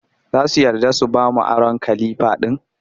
Za su yarda su ba mu aron kalifa ɗin